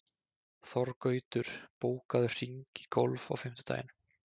Þorgautur, bókaðu hring í golf á fimmtudaginn.